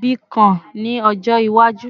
Bitcoin ni ọjọ iwaju